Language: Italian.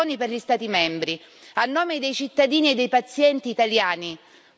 Lo IARC ha emanato in questi giorni le raccomandazioni per gli Stati membri.